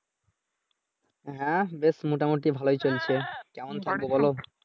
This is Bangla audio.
হ্যাঁ, বেশ মোটামুটি ভালোই চলছে কেমন চলছে বলো?